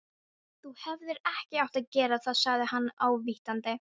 Þú hefðir ekki átt að gera það sagði hann ávítandi.